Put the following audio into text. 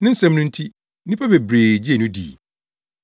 Ne nsɛm no nti nnipa bebree gyee no dii.